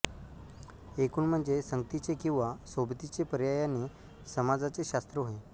एकूण म्हणजे संगतीचे किंवा सोबतीचे पर्यायाने समाजाचे शास्त्र होय